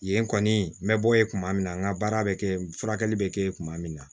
Yen kɔni n bɛ bɔ yen tuma min na n ka baara bɛ kɛ n furakɛli bɛ kɛ kuma min na